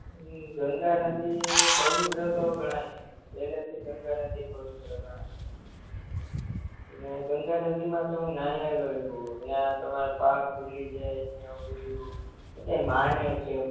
ઇ ગંગાનદી પવિત્રતો ગણાય હે પેલેથી ગંગાનદી પવિત્ર ગણાય ને ગંગાનદીમાં તો હું નાયેલો હું ન્યા તમારા પાપ્પ ધૂલી જાય ને એવું બધું બધાય માને છે એમ